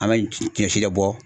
An b'a ye tigɛ si de bɔ.